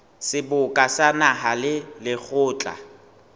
seboka sa naha le lekgotla